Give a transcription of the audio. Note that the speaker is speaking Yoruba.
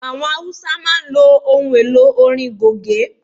Àwọn Haúsá ló máa ń ohun elò orin Goge.